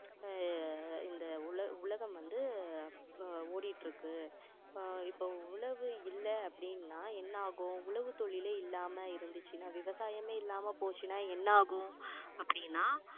ஆஹ் இந்த உல~ உலகம் வந்து அஹ் ஓடிட்டுருக்கு இப்போ இப்போ உழவு இல்லை அப்படின்னா என்ன ஆகும் உழவு தொழிலே இல்லாம இருந்துச்சுன்னா விவசாயமே இல்லாம போச்சுனா என்ன ஆகும் அப்படின்னா